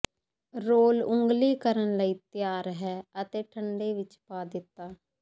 role ਉੰਗਲੀ ਕਰਨ ਲਈ ਤਿਆਰ ਹੈ ਅਤੇ ਠੰਡੇ ਵਿੱਚ ਪਾ ਦਿੱਤਾ